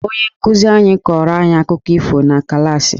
Onye nkụzi anyị kọrọ anyị akụkọ ifo na klaasị..